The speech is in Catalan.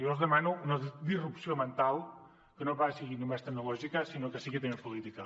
jo els demano una disrupció mental que no sigui només tecnològica sinó que sigui també política